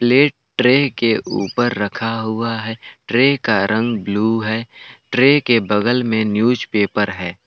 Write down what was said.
ये ट्रे के ऊपर रखा हुआ है ट्रे का रंग ब्लू है ट्रे के बगल में न्यूज़पेपर है।